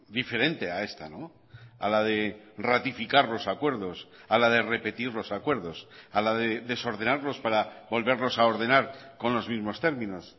diferente a esta a la de ratificar los acuerdos a la de repetir los acuerdos a la desordenarlos para volverlos a ordenar con los mismos términos